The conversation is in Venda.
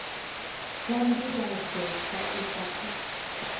tsha nḓivhadzo tsha iswa kha